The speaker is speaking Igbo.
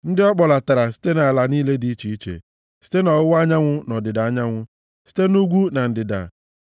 ndị ọ kpọlatara site nʼala niile dị iche iche, site nʼọwụwa anyanwụ na ọdịda anyanwụ, site nʼugwu na ndịda.